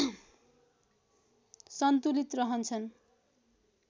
सन्तुलित रहन्छन्